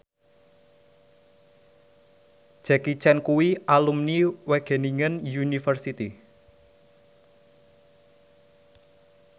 Jackie Chan kuwi alumni Wageningen University